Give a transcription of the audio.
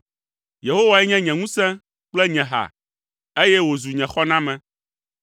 Yehowae nye nye ŋusẽ kple nye ha, eye wòzu nye xɔname.